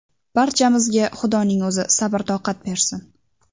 Barchamizga Xudoning o‘zi sabr-toqat bersin.